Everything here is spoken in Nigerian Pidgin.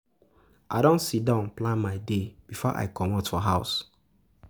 I don sidon plan my day before I comot for house.